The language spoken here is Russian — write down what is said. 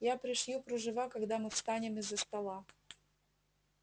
я пришью кружева когда мы встанем из-за стола